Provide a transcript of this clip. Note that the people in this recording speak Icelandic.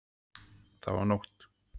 Það var nótt.